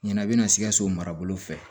Ɲana a be na sikasso marabolo fɛ